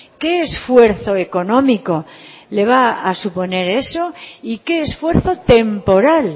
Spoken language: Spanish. qué esfuerzo económico le va a suponer eso y qué esfuerzo temporal